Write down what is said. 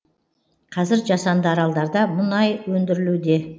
қазір жасанды аралдарда мұнай өндірілуде